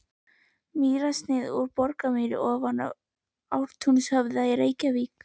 Mýrarsnið úr Borgarmýri ofan Ártúnshöfða í Reykjavík.